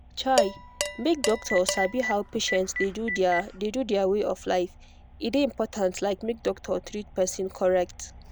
chai make doctor sabi how patient dey do their dey do their way of life e dey important like make doctor treat person correct.